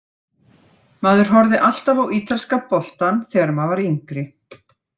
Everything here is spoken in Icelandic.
Maður horfði alltaf á ítalska boltann þegar maður var yngri.